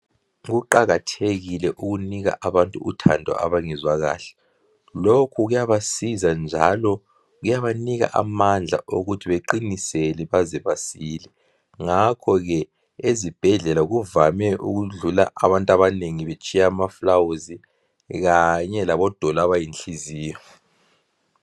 Kuqakathekile ukunika abantu uthando abangezwa kahle ,lokhu kuyabasiza njalo kuyabanika amandla okuthi baqinisele baze basile , ngakho ke ezibhedlela kuvame ukudlula abantu abanengi betshiya amafulawuzi kanje labo doli abayinhliziyo.